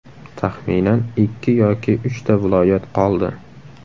Taxminan ikki yoki uchta viloyat qoldi.